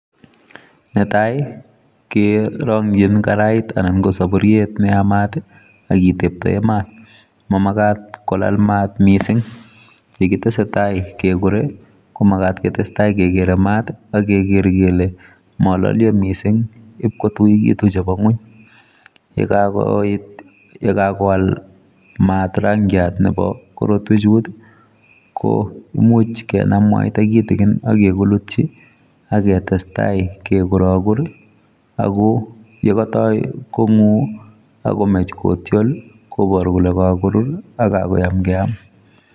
Netai kerangyiin saburuiet ne yamaat ii ak kitembse maat mamagaat kolaal maat missing ye kotesetai kegure ko magaat kotestai kegere maat ak kegerei kole malalia missing IP kituuch chebo ngweeny ye kakolal maat rangiat nebo korotweek chuut ko imuuch kenam mwaita kitikin ak kelutyiak ketestai ke kuragur ako ye katoi ko nguu akomaach ko tiol koyaak kole kagorur ak kayaam keyaam.